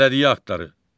Bələdiyyə aktları.